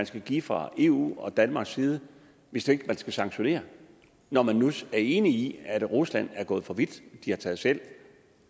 skal gives fra eus og danmarks side hvis det ikke skal sanktioneres når man nu er enig i at rusland er gået for vidt at de har taget selv